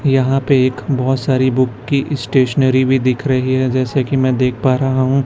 यहां पे एक बोहोत सारी बुक की स्टेशनरी भी दिख रही है जैसे कि मैं देख पा रहा हूं--